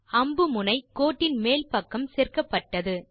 அம்புமுனை கோட்டின் மேல் பக்கம் சேர்க்கப்பட்டது